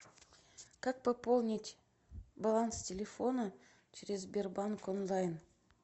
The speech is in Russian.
как пополнить баланс телефона через сбербанк онлайн